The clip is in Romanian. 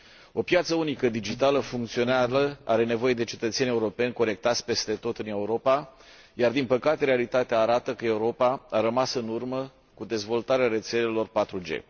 O piață unică digitală funcțională are nevoie de cetățeni europeni conectați, peste tot în Europa, dar, din păcate, realitatea arată că Europa a rămas în urmă cu dezvoltarea rețelelor 4G.